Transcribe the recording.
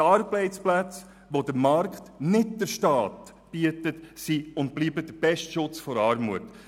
Die Arbeitsplätze, die der Markt und nicht der Staat bietet, sind der beste Schutz vor Armut.